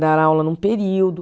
Dar aula num período.